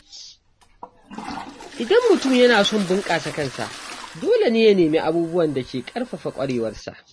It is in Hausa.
Idan mutum yana son bunƙasa kansa, dole ne ya nemi abubuwan da ke ƙarfafa ƙwarewarsa.